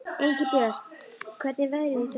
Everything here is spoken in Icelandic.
Engilbjört, hvernig er veðrið í dag?